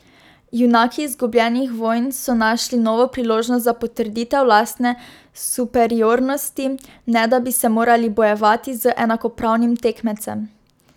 Junaki izgubljenih vojn so našli novo priložnost za potrditev lastne superiornosti, ne da bi se morali bojevati z enakopravnim tekmecem.